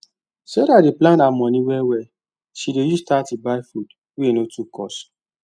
sarah dey plan her money well well she dey use thirty buy food wey no too cost